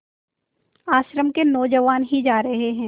आश्रम के नौजवान ही जा रहे हैं